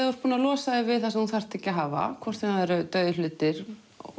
þú losar þig við það sem þú þarft ekki að hafa hvort sem það eru dauðir hlutir